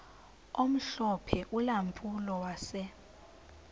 omhlophe ulampulo wase